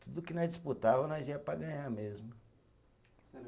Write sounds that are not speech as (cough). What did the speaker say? Tudo que nós disputava, nós ia para ganhar mesmo. (unintelligible)